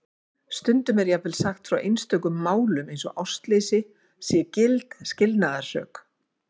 Stundum er jafnvel sagt frá einstökum málum eins og ástleysi sé gild skilnaðarsök.